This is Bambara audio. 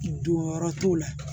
Don yɔrɔ t'o la